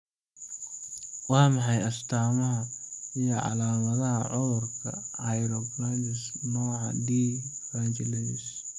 Waa maxay astaamaha iyo calaamadaha cudurka Hirschsprung nooca d brachydactyly?